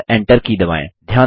और Enter की दबाएँ